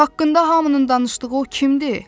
Haqqında hamının danışdığı o kimdir?